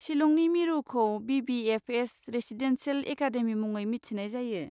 शिलंनि मिरुखौ BBFS. Residential academy मुङै मिथिनाय जायो।